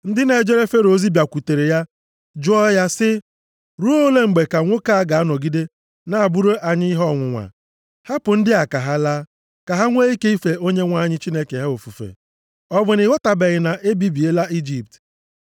Ndị na-ejere Fero ozi bịakwutere ya, jụọ ya sị, “Ruo ole mgbe ka nwoke a ga-anọgide na-abụrụ anyị ihe ọnwụnwa? Hapụ ndị a ka ha laa, ka ha nwee ike ife Onyenwe anyị Chineke ha ofufe. Ọ bụ na ị ghọtabeghị na e bibiela Ijipt?”